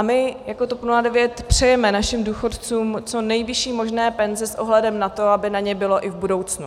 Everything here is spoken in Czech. A my jako TOP 09 přejeme našim důchodcům co nejvyšší možné penze s ohledem na to, aby na ně bylo i v budoucnu.